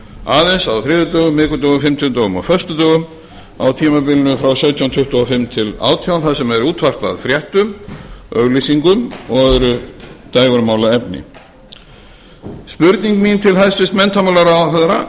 aðeins á þriðjudögum miðvikudögum fimmtudögum og föstudögum á tímabilinu frá sautján tuttugu og fimm til átján þar sem er útvarpað fréttum auglýsingum og öðru dægurmálaefni spurning mín til hæstvirts menntamálaráðherra